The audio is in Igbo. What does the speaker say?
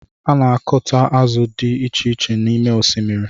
A na akuta azụ dị icheiche n’ime osimiri